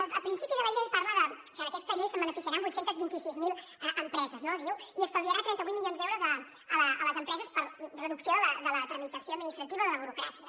el principi de la llei parla que d’aquesta llei se’n beneficiaran vuit cents i vint sis mil empreses no diu i estalviarà trenta vuit milions d’euros a les empreses per reducció de la tramitació administrativa de la burocràcia